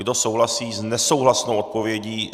Kdo souhlasí s nesouhlasnou odpovědí?